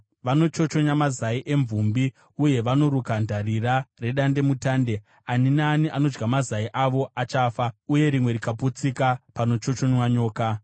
Vanochochonya mazai emvumbi, uye vanoruka dandira redandemutande. Ani naani anodya mazai avo achafa, uye rimwe rikaputsika, panochochonywa nyoka.